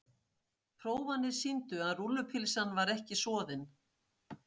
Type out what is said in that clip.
Prófanir sýndu að rúllupylsan var ekki soðin.